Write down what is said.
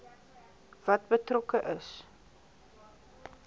wat betrokke is